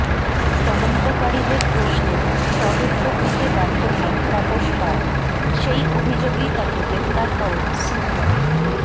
তদন্তকারীদের প্রশ্নের সদুত্তোর দিতে ব্যর্থ হন তাপস পাল সেই অভিযোগেই তাঁকে গ্রেফতার করে সিবিআই